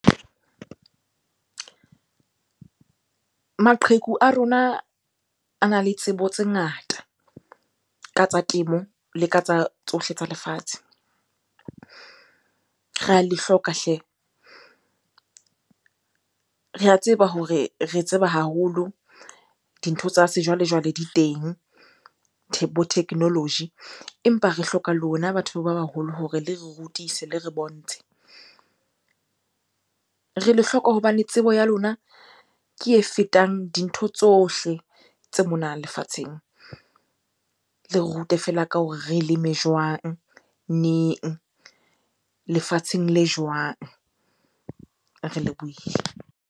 Maqheku a rona ana le tsebo tse ngata ka tsa temo le ka tsa tsohle tsa lefatshe. Re a le hloka hle! Re a tseba hore re tseba haholo, dintho tsa sejwalejwale di teng bo thekenoloji. Empa re hloka lona batho ba baholo hore le re rutise, le re bontshe. Re le hloka hobane tsebo ya lona ke e fetang dintho tsohle tse mona lefatsheng. Le re rute feela ka hore re leme jwang? Neng? Lefatsheng le jwang? Re lebohile.